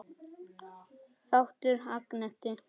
Þáttur Agnetu